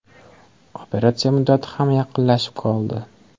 Operatsiya muddati ham yaqinlashib qoldi.